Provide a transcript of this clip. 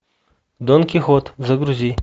дон кихот загрузи